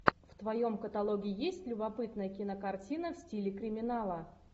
в твоем каталоге есть любопытная кинокартина в стиле криминала